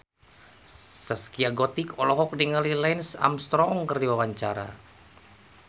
Zaskia Gotik olohok ningali Lance Armstrong keur diwawancara